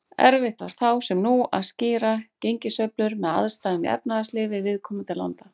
Erfitt var þá, sem nú, að skýra gengissveiflur með aðstæðum í efnahagslífi viðkomandi landa.